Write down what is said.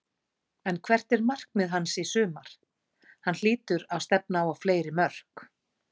En hvert er markmið hans í sumar, hann hlýtur að stefna á fleiri mörk?